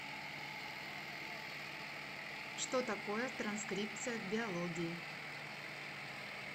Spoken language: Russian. что такое транскрипция в биологии